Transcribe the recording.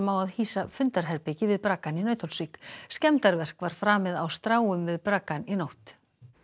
á að hýsa fundarherbergi við Braggann í Nauthólsvík skemmdarverk var framið á stráum við í nótt